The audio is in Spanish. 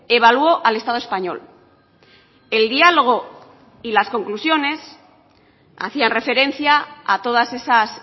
evaluó al estado español el diálogo y las conclusiones hacían referencia a todas esas